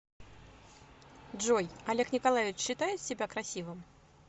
джой олег николаевич считает себя красивым